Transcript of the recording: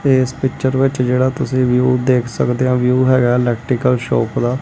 ਏਸ ਪਿਕਚਰ ਵਿੱਚ ਜੇਹੜਾ ਤੁਸੀ ਵਿਊ ਦੇਖ ਸਕਦੇ ਹੋ ਵਿਊ ਹੈਗਾ ਇਲੈਕਟ੍ਰਿਕਲ ਸ਼ੌਪ ਦਾ।